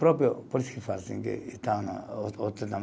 Próprio, por isso que faz assim, que está na